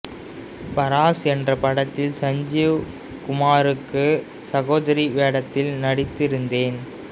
பராஸ் என்ற படத்தில் சஞ்சீவ் குமாருக்கு சகோதரி வேடத்தில் நடித்திருந்தேன்